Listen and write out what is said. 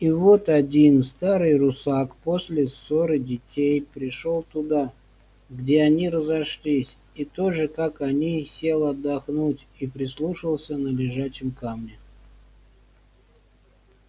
и вот один старый русак после ссоры детей пришёл туда где они разошлись и тоже как они сел отдохнуть и прислушаться на лежачем камне